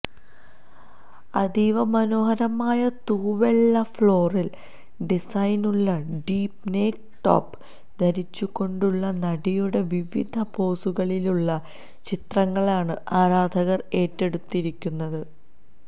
അതീവ മനോഹരമായ തൂവെള്ള ഫ്ലോറല് ഡിസൈനുള്ള ഡീപ്പ് നെക്ക് ടോപ്പ് ധരിച്ചുകൊണ്ടുള്ള നടിയുടെ വിവിധ പോസുകളിലുള്ള ചിത്രങ്ങളാണ് ആരാധകര് ഏറ്റെടുത്തിരിക്കുന്നത്